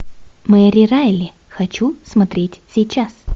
мэри райли хочу смотреть сейчас